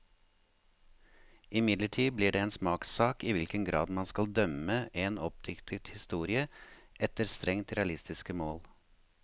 Imidlertid blir det en smakssak i hvilken grad man skal dømme en oppdiktet historie efter strengt realistiske mål.